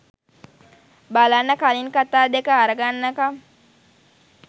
බලන්න කලින් කතා දෙක අරගන්නකම්